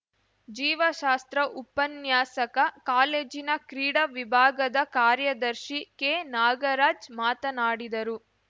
ಜೀವಶಾಸ್ತ್ರ ಉಪನ್ಯಾಸಕ ಕಾಲೇಜಿನ ಕ್ರೀಡಾ ವಿಭಾಗದ ಕಾರ್ಯದರ್ಶಿ ಕೆ ನಾಗರಾಜ್‌ ಮಾತನಾಡಿದರು